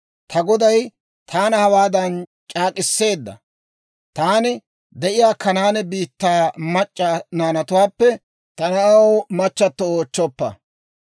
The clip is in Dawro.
Ta goday taana hawaadan c'aak'k'iseedda; ‹Taani de'iyaa Kanaane biittaa mac'c'a naanatuwaappe ta na'aw machchatto oochchoppa;